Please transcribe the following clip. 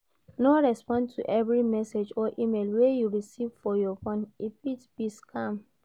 No respond to every message or email wey you recieve for your phone e fit be scam